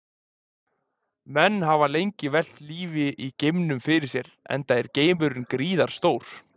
Menn hafa lengi velt lífi í geimnum fyrir sér enda er geimurinn gríðarstór.